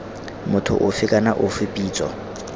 motho ofe kana ofe pitso